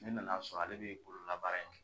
Ne nan'a sɔ ale be bololabaara in kɛ